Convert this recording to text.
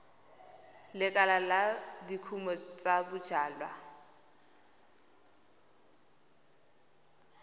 lekala la dikumo tsa bojalwa